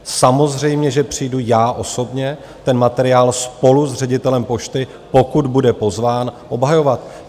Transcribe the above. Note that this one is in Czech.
Samozřejmě že přijdu já osobně ten materiál spolu s ředitelem Pošty, pokud bude pozván, obhajovat.